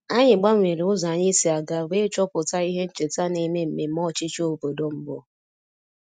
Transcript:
Anyị gbanwere ụzọ anyị si aga wee chọpụta ihe ncheta na-eme mmemme ọchịchị obodo mbụ